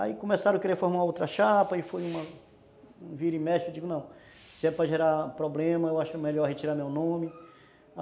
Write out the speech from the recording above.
Aí começaram a querer formar outra chapa e foi uma... vira e mexe, eu digo, não, se é para gerar problema, eu acho melhor retirar meu nome.